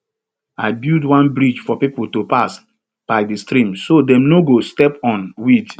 i build one bridge for people to pass by the stream so dem no go step on weed